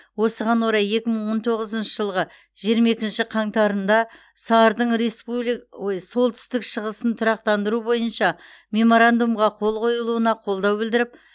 осыған орай екі мың он тоғызыншы жылғы жиырма екінші қаңтарында сар дың республик ой солтүстік шығысын тұрақтандыру бойынша меморандумға қол қойылуына қолдау білдіріп